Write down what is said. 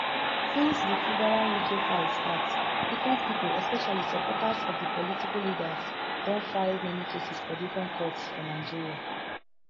since di fubarawike fight start different pipo especially supporters of di political leaders don file many cases for different courts for nigeria